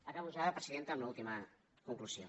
acabo ja presidenta amb l’última conclusió